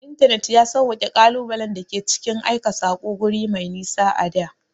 Intanet ya sawwaƙe ƙalubalen da ke cikin aika saƙo guri mai nisa a da.